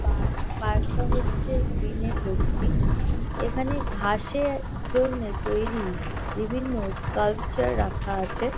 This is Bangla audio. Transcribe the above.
পার্ক পার্ক -টা হচ্ছে গ্রীন -এ ভর্তি এখানে ঘাসে জন্যে তৈরী বিভিন্ন স্কাল্পচার রাখা আছে।